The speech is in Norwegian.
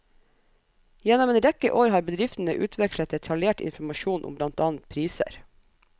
Gjennom en rekke år har bedriftene utvekslet detaljert informasjon om blant annet priser.